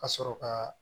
Ka sɔrɔ ka